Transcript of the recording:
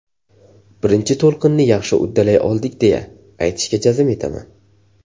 Birinchi to‘lqinni yaxshi uddalay oldik deya, aytishga jazm etaman.